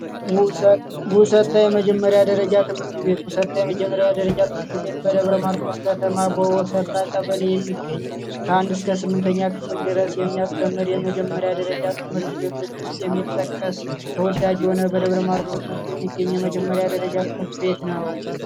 ውሰጠ የመጀመሪያ ደረጃ ትምህርት ቤት ውሰጠ ትምህርት ቤት በደብረ ማርቆስ ከተማ ቀበሌ የሚገኝ ከአንድ እስከ ስምንተኛ ክፍል የሚያስተምር የመጀመሪያ ደረጃ ትምህርት ቤቶች ውስጥ የሚጠቀስ ተወዳጅ የሆነ በደብረ ማርቆስ ውስጥ የሚገኝ የመጀመሪያ ደረጃ ትምህርት ቤት ነው።